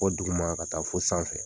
dugu ma ka taa fo sanfɛ.